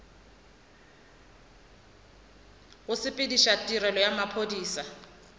go sepediša tirelo ya maphodisa